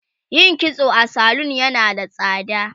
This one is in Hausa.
yin kitso a salun yana da tsada